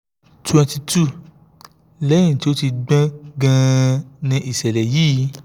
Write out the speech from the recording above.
twenty two lẹ́yìn tí ó ti gbọ́n gan-an ni ìṣẹ̀lẹ̀ yìí